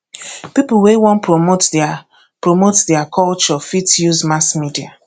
pipo wey wan promote their promote their culture fit use mass media